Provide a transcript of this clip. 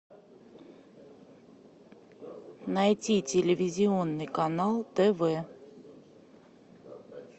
найти телевизионный канал тв